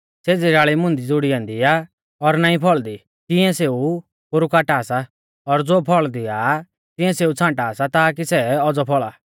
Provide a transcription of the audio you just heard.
ज़ेज़ी डाल़ी मुंदी ज़ुड़ी ऐन्दी आ और नाईं फौल़दी तिंऐ सेऊ पोरु काटा सा और ज़ो फौल़ दिआ तिऐं सेऊ छ़ांटा सा ताकी सै औज़ौ फौल़ा